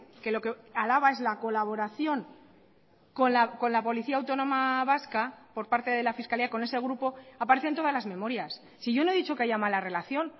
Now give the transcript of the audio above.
que lo que alaba es la colaboración con la policía autónoma vasca por parte de la fiscalía con ese grupo aparece en todas las memorias si yo no he dicho que haya mala relación